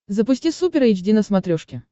запусти супер эйч ди на смотрешке